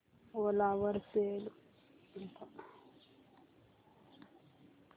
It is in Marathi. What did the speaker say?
ओला वर सेल कर